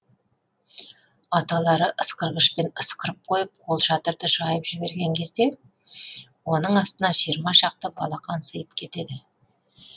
аталары ысқырғышпен ысқырып қойып қолшатырды жайып жіберген кезде оның астына жиырма шақты балақан сыйып кетеді